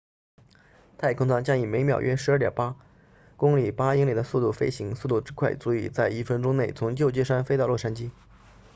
太空舱将以每秒约 12.8 公里8英里的速度飞行速度之快足以在一分钟内从旧金山飞到洛杉矶